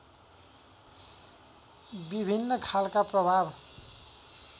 विभिन्न खालका प्रभाव